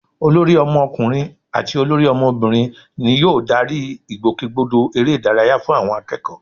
Olórí ọmọkùnrin àti olórí ọmọbìnrin ni yóò darí ìgbòkègbodò eré ìdárayá fún àwọn akẹ́kọ̀ọ́